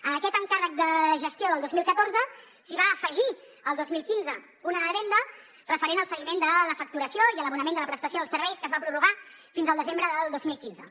a aquest encàrrec de gestió del dos mil catorze s’hi va afegir el dos mil quinze una addenda referent al seguiment de la facturació i a l’abonament de la prestació dels serveis que es va prorrogar fins al desembre del dos mil quinze